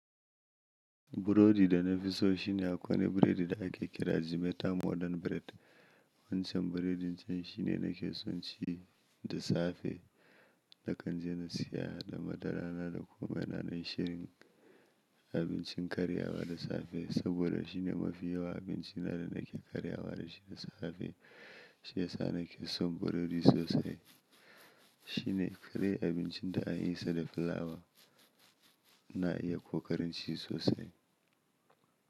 Burodi da na fi so shi ne akwai wani biredi da ake kira Jimeta Modern Bread. Wancan biredin can shi ne na ke son ci da safe, na kan je na siya da madara na da komai na don shirin abincin karyawa da safe. Saboda shi ne mafi yawa abinci na da nake karyawa da shi da safe. Shi ya sa na ke son burodi sosai. Shi ne kadai abincin da ana yin sa da fulawa. Na iya ƙoƙarin ci sosai.